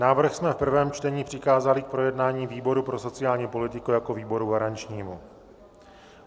Návrh jsme v prvém čtení přikázali k projednání výboru pro sociální politiku jako výboru garančnímu.